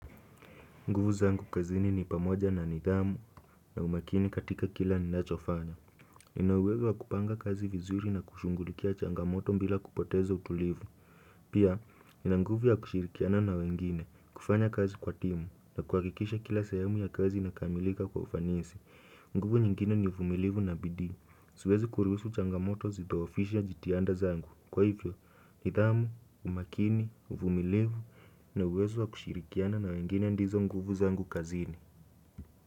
Nguvu zangu kazini ni pamoja na nidhamu na umakini katika kila ninacho fanya. Nina uwezo wa kupanga kazi vizuri na kushughulikia changamoto bila kupoteza utulivu. Pia, nina nguvu ya kushirikiana na wengine, kufanya kazi kwa timu na kuhakikisha kila sehemu ya kazi inakamilika kwa ufanisi. Nguvu nyingine ni uvumilivu na bidii. Siwezi kuruhusu changamoto zidhoofishe jitihanda zangu Kwa hivyo, nidhamu, umakini, uvumilivu na uwezo wa kushirikiana na wengine ndizo nguvu zangu kazini.